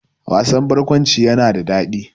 Wasan barkwanci yana da daɗi